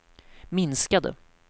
minskade